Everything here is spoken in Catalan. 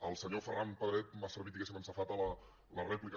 el senyor ferran pedret m’ha servit diguéssim en safata la rèplica